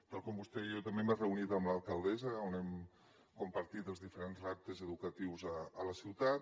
tal com vostè diu jo també m’he reunit amb l’alcaldessa on hem compartit els diferents reptes educatius a la ciutat